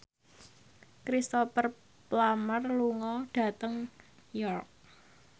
Cristhoper Plumer lunga dhateng York